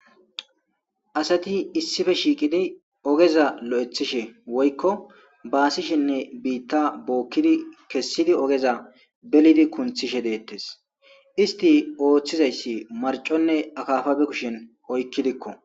Asati issippe shiqqidi ogeza lo'othishe woyko baasishinne biitta bookidi ,kessidi ogeza bellidi kunthishe de'ettis. Isstti oothiza issi marconne akaafa bokishin oykidikko.